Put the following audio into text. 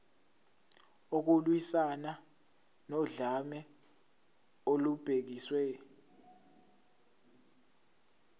ukulwiswana nodlame olubhekiswe